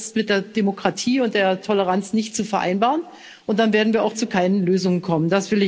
Das ist mit der Demokratie und der Toleranz nicht zu vereinbaren und dann werden wir auch zu keinen Lösungen kommen.